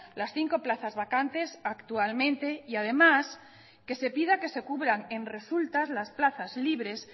las cinco plazas vacantes actualmente y además que se pida que se cubran en resultas las plazas libres